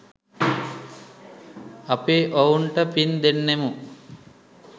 අපි ඔවුන්ට පින් දෙන්නෙමු.